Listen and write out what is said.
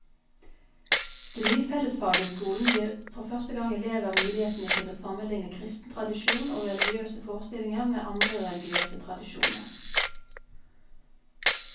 Det nye fellesfaget i skolen gir for første gang elever mulighetene til å sammenligne kristen tradisjon og religiøse forestillinger med andre religiøse tradisjoner.